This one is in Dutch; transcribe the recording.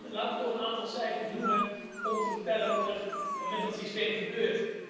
Laat me toch een aantal cijfers noemen om te vertellen wat er met dat systeem gebeurt.